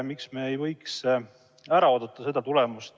Miks me ei võiks ära oodata seda tulemust?